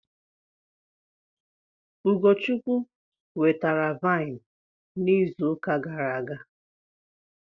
Ugochukwu wetara vine n'izu uka gara aga.